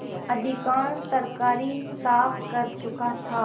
अधिकांश तरकारी साफ कर चुका था